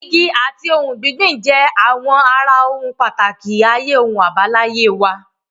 Igi àti ohun gbígbìn jẹ́ àwọn ara ohun pàtàkì ayé ohun àbáláyé wa.